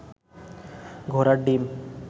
ঘোড়ার ডিম